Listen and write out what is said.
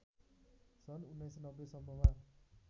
सन् १९९० सम्ममा